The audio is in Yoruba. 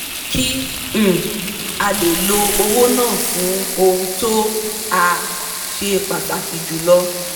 kí um a lè lo owó náà fún ohun tó um ṣe pàtàkì jùlọ